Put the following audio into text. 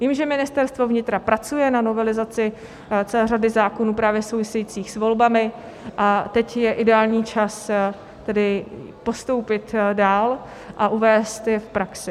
Vím, že Ministerstvo vnitra pracuje na novelizaci celé řady zákonů právě souvisejících s volbami, a teď je ideální čas tedy postoupit dál a uvést je v praxi.